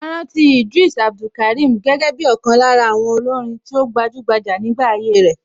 A rántí Idris Abdulkarim gẹ́gẹ́ bí ọ̀kan lára àwọn olórin tí ó gbajúgbajà nígbà ayé ẹ̀.